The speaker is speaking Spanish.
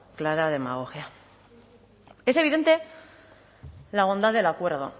clara demagogia es evidente la bondad del acuerdo